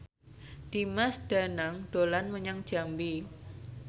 Dimas Danang dolan menyang Jambi